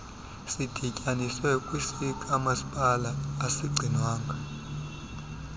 sidityaniswe kwesikamasipala asigcinwanga